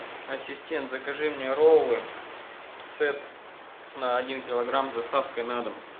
ассистент закажи мне роллы сет на один килограмм с доставкой на дом